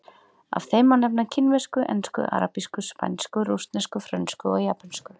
Af þeim má nefna kínversku, ensku, arabísku, spænsku, rússnesku, frönsku og japönsku.